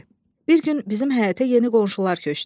B, Bir gün bizim həyətə yeni qonşular köçdü.